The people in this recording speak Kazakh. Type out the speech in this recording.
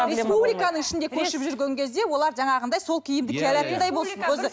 республиканың ішінде көшіп жүрген кезде олар жаңағындай сол киімді кие алатындай болсын өзі